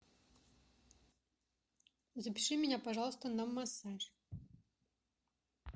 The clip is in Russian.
запиши меня пожалуйста на массаж